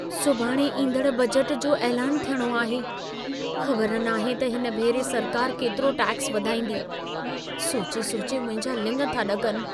सुभाणे ईंदड़ बजट जो ऐलान थियणो आहे। ख़बर नाहे त हिन भेरे सरकार केतिरो टैक्स वधाईंदी। सोचे-सोचे मुंहिंजा लिङ था ॾकनि।